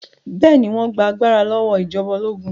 Bẹ́ẹ̀ ni, wọ́n gba agbára lọ́wọ́ ìjọba ológun.